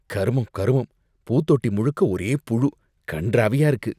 கருமம், கருமம்! பூதொட்டி முழுக்க ஒரே புழு, கண்றாவியா இருக்கு.